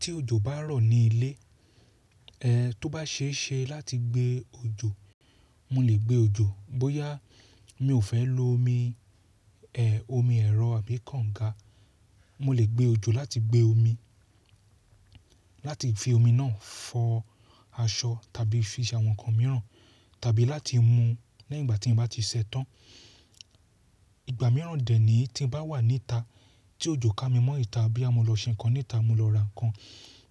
Tí òjò bá rọ̀ ní ilé, ẹh tó bá ṣe é ṣe láti gbé òjò, mo lè gbé òjò. Bóyá mi ò fẹ́ lo omi, ẹ omi ẹ̀rọ àbí kànga, mo lè gbé òjò láti gbé omi, láti fi omi náà fọ aṣọ tàbí fi ṣe àwọn nǹkan mìíràn tàbí láti mu lẹyìn ígbà tí mo bá ti ṣẹ tán. Ìgbà mìíràn dè ní tí ń bá wà níta tí òjò ká mi mọ́ ìta àbí a máa lọ ṣe nǹkan níta, mo lọ ra nǹkan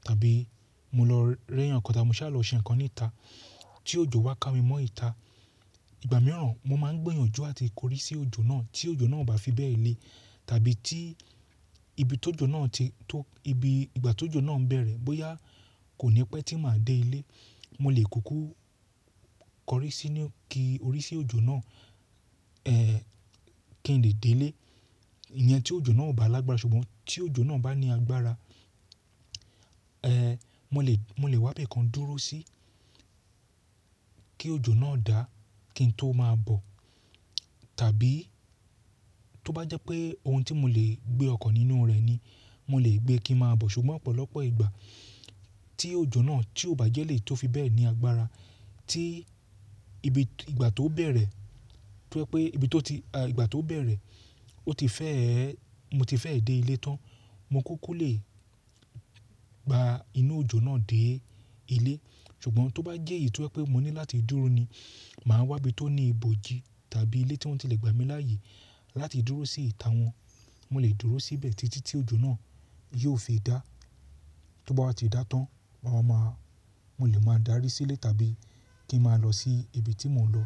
tàbí mo lọ réyàn nǹkan tá, mo sá lọ ṣe nǹkan níta tí òjò wá ká mi mọ́ ìta. Ìgbà mìíràn mo máa ń gbìyànjú àti korí sí òjò náà tí òjò náà ò bá fi bẹ́ẹ̀ lé tàbí tí ibi tó jọ náà ti tó, ibi ìgbà tó jọ náà ń bẹ̀rẹ̀ bóyá kò ní pẹ́ tí màá dé ilé. Mo lè kúkú kọrí sí i ní kí orí sí òjò náà, eh kí n lè dé ilé. Ènìyàn tí òjò náà ò bá lágbára ṣùgbọ́n tí òjò náà bá ní agbára, eh mo lè, mo lè wá ibìkan dúró sí kí òjò náà dà kí n tó máa bọ̀. Tàbí tó bá jẹ́ pé ohun tí mo lè gbé ọkọ̀ nínú rẹ̀ ni mo lè gbé kí n máa bọ̀. Ṣùgbọ́n ọ̀pọ̀lọpọ̀ ìgbà tí òjò náà tí ò bá jẹ́ lè tó fi bẹ́ẹ̀ ní agbára tí ibi ìgbà tó bẹ̀rẹ̀, tó pé pé ibi tó ti, ìgbà tó bẹ̀rẹ̀ ó ti fẹ́, mo ti fẹ́ dé ilé tán, mo kúkú lè gba inú òjò náà dé ilé. Ṣùgbọ́n tó bá jẹ́ èyí tó pé mo ní láti dúró ni, màá wá ibi tó ní ibòji tàbí ilé tí wọ́n ti lè gbà mí láàyè láti dúró sí ìta wọn. Mo lè dúró síbẹ̀ títí tí òjò náà yóò fi dà. Tó bá ti dà tán, mo máa ma, mo lè máa darí sílé tàbí kí n máa lọ sí ibi tí mò ń lọ.